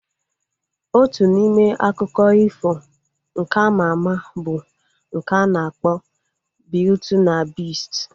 Otu n'ime akụkọ ifo nke ama ama bụ nke a na-akpọ Biuti na Bist